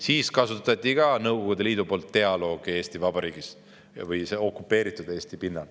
Siis kasutas Nõukogude Liit ka dialoogi Eestis, õigemini okupeeritud Eesti pinnal.